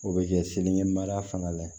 O bɛ kɛ seleri mara fanga la